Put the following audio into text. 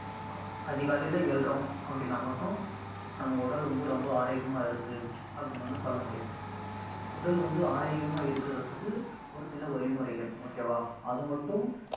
அதிகாலையிலே எழுறோம் அப்படின்னா மட்டும் நம்ம உடல் வந்து ரொம்ப ஆரோக்கியமா இருக்கு அப்படின்னு வந்து சொல்ல முடியாது, அது உடல் வந்து ஆரோக்கியமா இருக்கறதுக்கு ஒரு சில வழிமுறைகள் okay வா அது மட்டும்